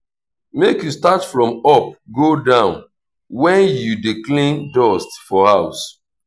make you start from up go down when you dey clean dust for house.